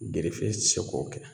Gerefe tɛ se k'o kɛ